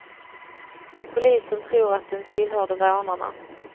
Polisen tror att den tillhörde rånarna.